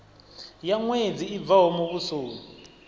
ya ṅwedzi i bvaho muvhusoni